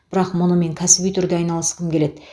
бірақ мұнымен кәсіби түрде айналысқым келеді